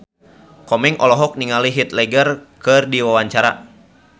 Komeng olohok ningali Heath Ledger keur diwawancara